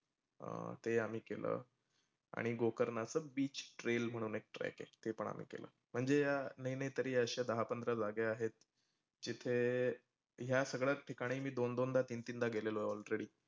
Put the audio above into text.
अं ते आम्ही केलंं. आणि गोकर्णाचं beach trail म्हणून एक track आहे, ते पण आम्ही केलं. म्हणजे या नाही नाही म्हटलं तरी दहा पंधरा जागा आहेत. जीथे, या सगळ्या ठिकाणी मी दोन दोनदा तीन तीनदा गेलेलो already.